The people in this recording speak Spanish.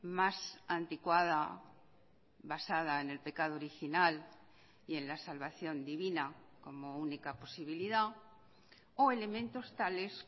más anticuada basada en el pecado original y en la salvación divina como única posibilidad o elementos tales